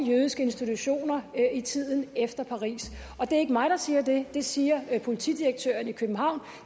jødiske institutioner i tiden efter paris det er ikke mig der siger det det siger politidirektøren i københavn